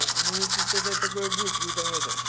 если что-то такое будет вы там это